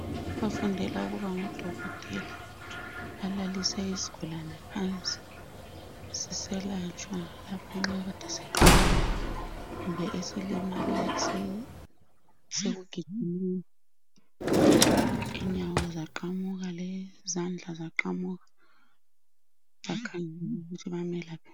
Abafundela ukuba ngodokotela balalise isigulane phansi siselatshwa lapho nxa kuyikuthi kade siqamukile kumbe esilimale sisekugijimeni inyawo zaqamuka lezandla zaqamuka bakhangela ukuthi bamelaphe.